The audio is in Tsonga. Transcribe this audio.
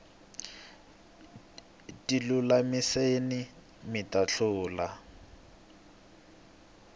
tilulamiseni mita hlula